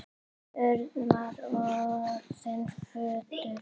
Örn var orðinn fölur.